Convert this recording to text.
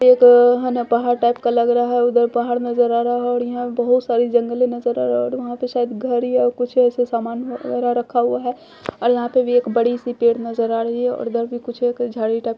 एक हना पहाड़ टाइप का लग रहा हैं उधर बाहर नजर आ रहा और यहां बहुत सारी जंगल नजर आरा और वहां पे शायद घर या कुछ ऐसे सामान ह वगैरा रखा हुआ हैं और यहां पे भी एक बड़ी सी पेड़ नजर आ रही हैं और इधर कुछ एक झड़ी टाइप नजर--